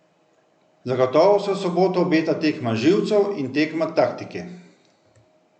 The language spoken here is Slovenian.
Zagotovo se v soboto obeta tekma živcev in tekma taktike.